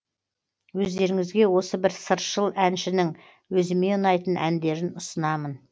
өздеріңізге осы бір сыршыл әншінің өзіме ұнайтын әндерін ұсынамын